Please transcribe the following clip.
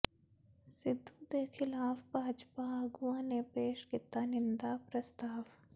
ਸਿੱਧੂ ਦੇ ਖਿਲਾਫ ਭਾਜਪਾ ਆਗੂਆਂ ਨੇ ਪੇਸ਼ ਕੀਤਾ ਨਿੰਦਾ ਪ੍ਰਸਤਾਵ